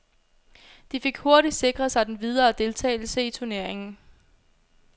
De fik hurtigt sikret sig den videre deltagelse i turneringen.